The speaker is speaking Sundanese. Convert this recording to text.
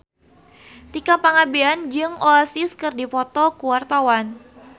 Tika Pangabean jeung Oasis keur dipoto ku wartawan